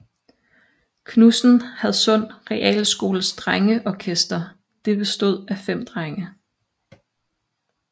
Knudsen Hadsund Realskoles Drengeorkester det bestod af 5 drenge